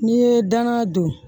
N'i ye danga don